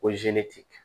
Ko